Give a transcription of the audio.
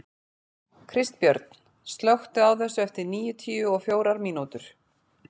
Kristbjörn, slökktu á þessu eftir níutíu og fjórar mínútur.